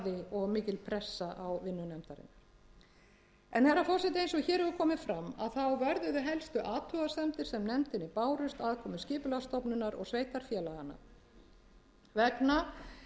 og mikil pressa á vinnu nefndarinnar en herra forseti eins og hér hefur komið fram þá vörðuðu helstu athugasemdir sem nefndinni bárust aðkomu skipulagsstofnunar og sveitarfélaganna vegna